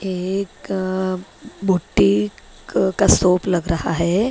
एक क बूटीक का शॉप लग रहा है ।